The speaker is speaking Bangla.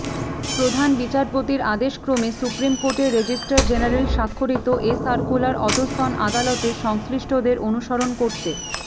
প্রধান বিচারপতির আদেশক্রমে সুপ্রিম কোর্টের রেজিস্ট্রার জেনারেল স্বাক্ষরিত এ সার্কুলার অধস্তন আদালতের সংশ্লিষ্টদের অনুসরণ করতে